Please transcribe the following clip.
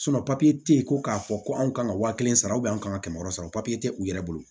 papiye tɛ yen ko k'a fɔ ko anw kan ka waa kelen sara an ka kɛmɛ wɔɔrɔ sara tɛ u yɛrɛ bolo